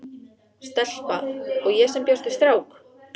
Stelpa- og ég sem bjóst við strák.